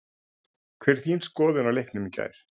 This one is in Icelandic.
Hver er þín skoðun á leiknum í gær?